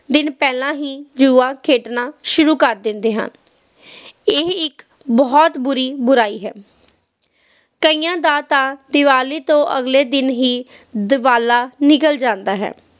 ਦਿਨ ਪਹਿਲਾਂ ਹੀ ਜੂਆ ਖੇਡਣਾ ਸ਼ੁਰੂ ਕਰ ਦਿੰਦੇ ਹਨ ਇਹ ਇੱਕ ਬਹੁਤ ਬੁਰੀ ਬੁਰਾਈ ਹੈ ਕਈਆਂ ਦਾ ਤਾ ਦੀਵਾਲੀ ਤੋਂ ਅਗਲੇ ਦਿਨ ਹੀ ਦੀਵਾਲਾ ਨਿਕਲ ਜਾਂਦਾ ਹੈ